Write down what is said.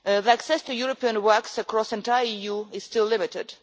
Access to European works across the entire EU is still limited.